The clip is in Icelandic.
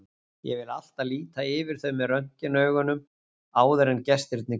Ég vil alltaf líta yfir þau með röntgenaugum áður en gestirnir koma.